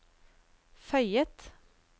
føyet